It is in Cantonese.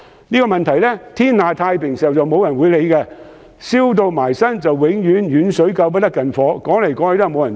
這些問題在天下太平時沒人理會，但當"燒到埋身"，總是遠水救不了近火。